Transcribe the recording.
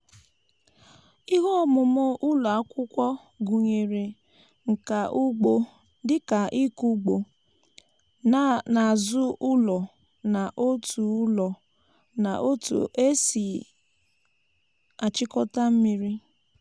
ihe ọmụmụ ụlọ akwụkwọ gụnyere nka ugbo dịka ịkụ ugbo n’azụ ụlọ na otu ụlọ na otu esi achịkọta mmiri.